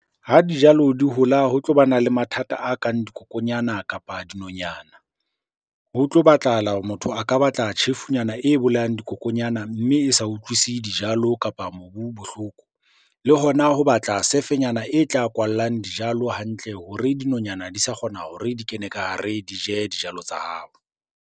Ha dijalo di hola ho tlo bana le mathata a kang dikokonyana, kapa dinonyana. Ho tlo batlahala hore motho a ka batla tjhefunyana e bolayang dikokonyana, mme e sa utlwisise dijalo kapa mobu bohloko. Le hona ho batla sefenyana e tla kwallang dijalo hantle hore dinonyana di sa kgona hore di kene ka hare di je dijalo tsa hao.